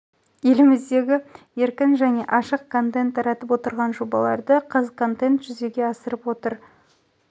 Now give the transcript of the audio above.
еліміздегі еркін және ашық контент таратып отырған жобаларды қазконтент жүзеге асырып отыр